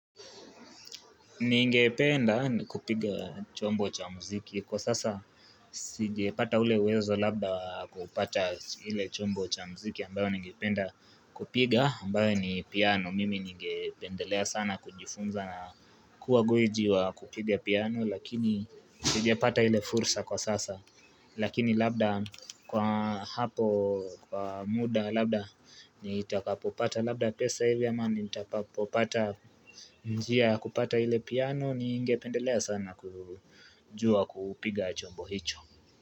Ningependa kupiga chombo cha muziki kwa sasa sijepata ule uwezo labda kupata ile chombo cha muziki ambayo ningependa kupiga ambayo ni piano mimi ningependelea sana kujifunza na kuwa gwiji wa kupiga piano lakini sijapata ile fursa kwa sasa Lakini labda kwa hapo kwa muda labda nitakapopata labda pesa hivi ama ni nitapopata njia ya kupata ile piano ningependelea sana kujua kupiga chombo hicho.